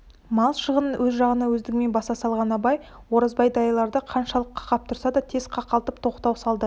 мал шығынын өз жағына өздігімен баса салған абай оразбай дайырларды қаншалық қақап тұрса да тез қақалтып тоқтау салды